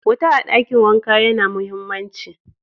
Wuta a dakin wanka ya na mahimmanci.